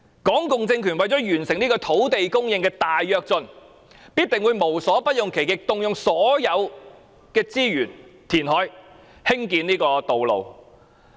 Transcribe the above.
港共政權為了達成土地供應的大躍進，必定會無所不用其極，動用所有資源填海及興建道路。